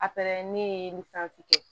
A ne ye kɛ